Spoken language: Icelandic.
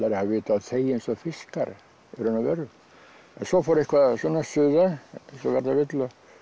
að hafa vit á að þegja eins og fiskar í raun og veru en svo fór eitthvað að suða eins og verða vill